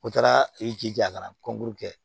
O taara i jija a ka na kɔnkuru kɛ